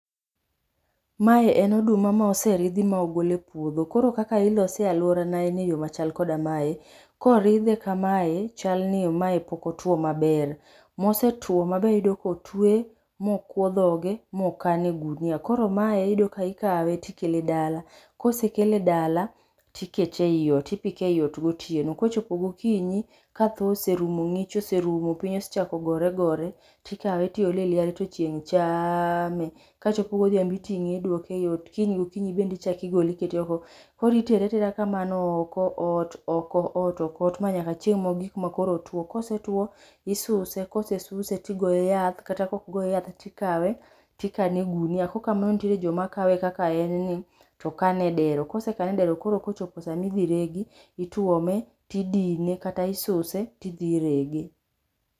Mae en oduma ma oseridhi ma ogol e puodho. Koro kaka ilose e aluora na en e yoo machal koda mae. Koridhe kamae chal ni mae pok otuo maber, mosetuo maber iyudo kotwe, ma kuo dhoge, moka e gunia. koro mae iyudo ka ikawe tikele dala, kosekele dala, tikete ei ot, tipike eot gotieno. kochopo gokinyi ka tho oserumo , ngich oserumo ,piny osechako gore gore, tikawe tiole e liare to chieng chaaame, kachopo godhiambo tikawe iduoke eot, kiny gokinyi bende ichak igole ikete oko. koro itere atera kamano, oko ot, oko ot, oko ot, nyaka chieng mogik makoro otuo. Kosetuo isuse, kosesuse tigoe yath, kata kaok goye yath tikawe tikane e gunia, kaok kamano to nitie joma kane kaka en ni to kane e dero ,kosekane e dero koro kochopo sama idhi regi ituome tidine kata isuse tidhi irege.